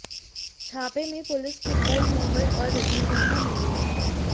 छापे में पुलिस को गोल्ड मोहर और रजनीगंधा मिले हैं